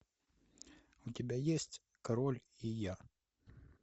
у тебя есть король и я